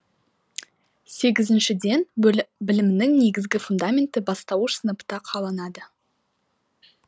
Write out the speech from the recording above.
сегізіншіден білімнің негізгі фундаменті бастауыш сыныпта қаланады